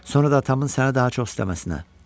Sonra da atamın səni daha çox sevməsinə.